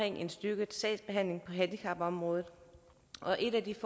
en styrket sagsbehandling på handicapområdet og en af de